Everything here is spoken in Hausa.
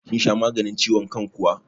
Kin sha maganin ciwon kan kuwa?